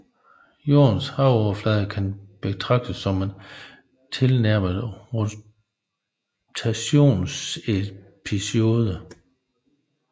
Jordens havoverflade kan betraktes som en tilnærmet rotationsellipsoide